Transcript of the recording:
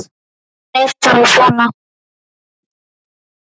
Hann er bara svona.